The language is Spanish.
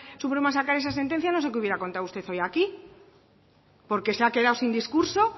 supremo a sacar esa sentencia no sé qué hubiera contado usted hoy aquí porque se ha quedado sin discurso